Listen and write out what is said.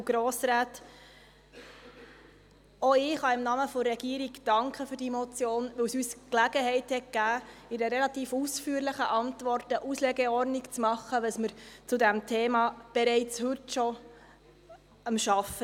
Auch ich kann im Namen der Regierung danken für diese Motion, weil sie uns die Gelegenheit gegeben hat, in einer relativ ausführlichen Antwort eine Auslegeordnung darüber zu machen, woran wir bei diesem Thema bereits heute schon arbeiten.